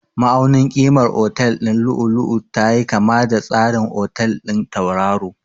Ma'aunin ƙimar otal ɗin lu'u-lu'u tayi kama da tsarin otal ɗin tauraro.